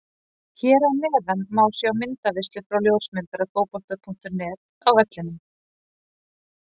Hér að neðan má sjá myndaveislu frá ljósmyndara Fótbolta.net á vellinum.